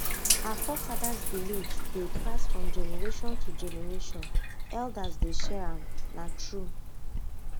our forefathers beliefs dey pass from generation to generation elders dey share am na true